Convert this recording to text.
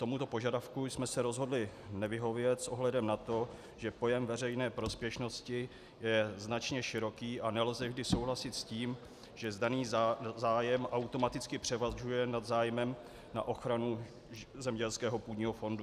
Tomuto požadavku jsme se rozhodli nevyhovět s ohledem na to, že pojem veřejné prospěšnosti je značně široký a nelze vždy souhlasit s tím, že daný zájem automaticky převažuje nad zájmem na ochranu zemědělského půdního fondu.